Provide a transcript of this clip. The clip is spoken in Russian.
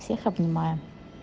всех обнимаю